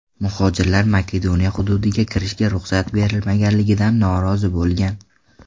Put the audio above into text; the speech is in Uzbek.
Muhojirlar Makedoniya hududiga kirishga ruxsat berilmaganligidan norozi bo‘lgan.